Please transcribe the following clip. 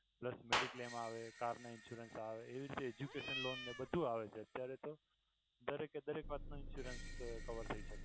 mediclaim આવે car ના insurance આવે education loan ને બધુ આવે છે અત્યારે તો દરેક એ દરેક વાત નો insurance cover થઈ જાય છે.